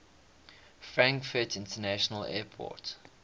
frankfurt international airport